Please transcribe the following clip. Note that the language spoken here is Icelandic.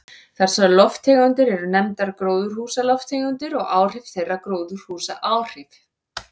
Þessar lofttegundir eru nefndar gróðurhúsalofttegundir og áhrif þeirra gróðurhúsaáhrif.